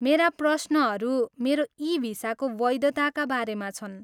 मेरा प्रश्नहरू मेरो इ भिसाको वैधताका बारेमा छन्।